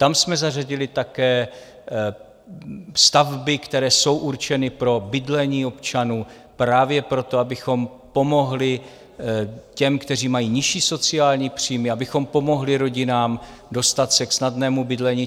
Tam jsme zařadili také stavby, které jsou určeny pro bydlení občanů, právě proto, abychom pomohli těm, kteří mají nižší sociální příjmy, abychom pomohli rodinám dostat se k snadnému bydlení.